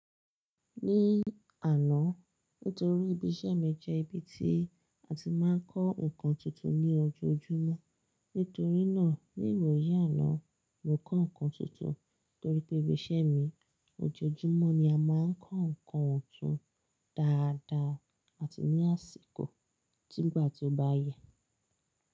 Ní àná nítorí ibi iṣẹ́ mi jẹ́ ibi tí a ti máa ń kọ́ nǹkan tuntun ní ojoojúmọ́. Nítorí náà ní ìwoyi àná, mo kọ́ ǹkan tuntun torí pé ibi iṣẹ́ mi ojoojúmọ́ ni a máa ń kọ́ ǹkan tuntun dáadáa àti ní àsìkò tígbà tí ó bá yẹ.